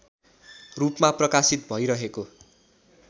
रूपमा प्रकाशित भइरहेको